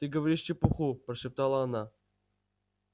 ты говоришь чепуху прошептала она